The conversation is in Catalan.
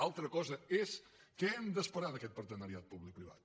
alta cosa és què hem d’esperar d’aquest partenariat públic privat